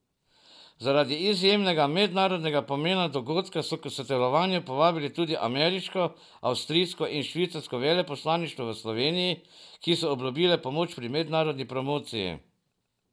Zaradi izjemnega mednarodnega pomena dogodka so k sodelovanju povabili tudi ameriško, avstrijsko in švicarsko veleposlaništvo v Sloveniji, ki so obljubile pomoč pri mednarodni promociji.